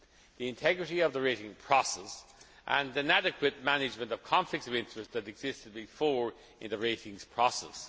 the integrity of the rating process and an adequate management of conflicts of interest that existed before in the rating process.